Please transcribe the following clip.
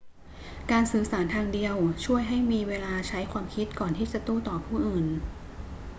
การสื่อสารทางเดียวช่วยให้มีเวลาใช้ความคิดก่อนที่จะโต้ตอบผู้อื่น